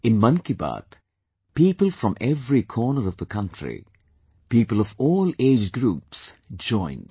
In 'Mann Ki Baat', people from every corner of the country, people of all age groups joined